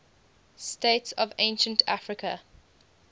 states of ancient africa